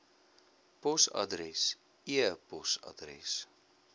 posadres e posadres